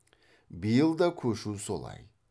биыл да көшу солай